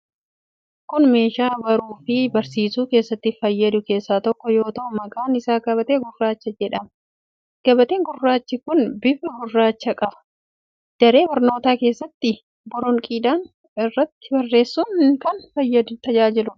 Kun meeshaa baruu fi barsiisuu keessatti fayyadu keessaa tokko yoo ta'u, maqaan isaa gabatee gurraacha jedhama. Gabateen gurraachi kun bifa gurraacha qaba. Daree barnootaa keessatti boronqiidhaan irratti barreessuun kan tajaajiluudha.